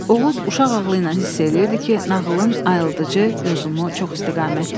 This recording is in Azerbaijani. Oğuz uşaq ağlı ilə hiss eləyirdi ki, nağılın ayıldıcı yozumu çoxistiqamətlidir.